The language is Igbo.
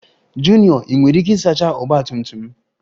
Junior Ị nwere ike isacha Ọgba tum tum m?